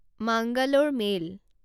মাঙালৰে mail